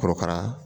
Korokara